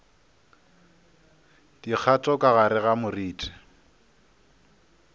dikgato ka gare ga moriti